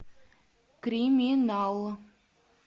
криминал